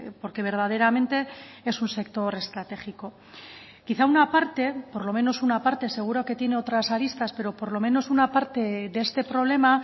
porque verdaderamente es un sector estratégico quizá una parte por lo menos una parte seguro que tiene otras aristas pero por lo menos una parte de este problema